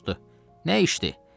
Soruşdu: Nə işdir?